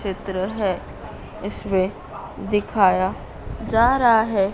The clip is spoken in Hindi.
चित्र है इसमें दिखाया जा रहा है।